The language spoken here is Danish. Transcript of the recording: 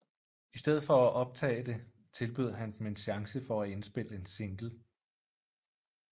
I stedet for at optage det tilbød han dem en chance til at indspille en single